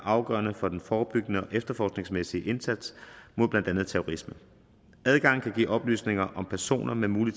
afgørende for den forebyggende og efterforskningsmæssige indsats mod blandt andet terrorisme adgangen kan give oplysninger om personer med mulig